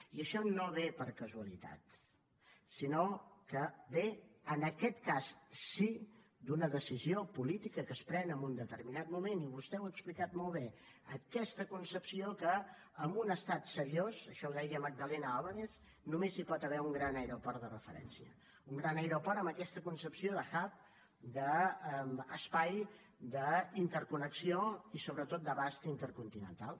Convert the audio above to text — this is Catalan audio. i això no ve per casualitat sinó que ve en aquest cas sí d’una decisió política que es pren en un determinat moment i vostè ho ha explicat molt bé aquesta concepció que en un estat seriós això ho deia magdalena álvarez només hi pot haver un gran aeroport de referència un gran aeroport amb aquesta concepció de hub d’espai d’interconnexió i sobretot d’abast intercontinental